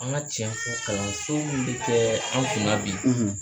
An ka tiɲɛ fɔ kalansen min bɛ kɛ an kunna bi